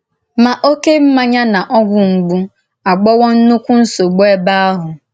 Ma òké mmáńyà na ògwù mgbù àghọ̀wò ńnùkwú nsọ́bụ ebe ahụ.